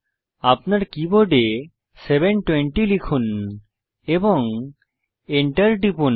আপনার কীবোর্ডে 720 লিখুন এবং enter টিপুন